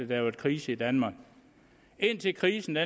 der er krise i danmark indtil krisen